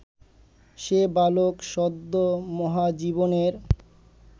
সে বালক সদ্য মহাজীবনের